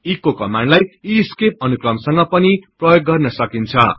echo कमान्डलाई escape अनुक्रमसंग पनि प्रयोग गर्न सकिन्छ